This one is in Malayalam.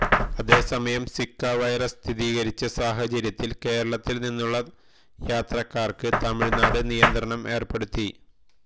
അതേസമയം സിക്കാ വൈറസ് സ്ഥിരീകരിച്ച സാഹചര്യത്തിൽ കേരളത്തിൽ നിന്നുള്ള യാത്രകാർക്ക് തമിഴ് നാട് നിയന്ത്രണം ഏർപ്പെടുത്തി